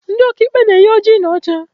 Ndị ọka ikpe na-eyi oji na ọcha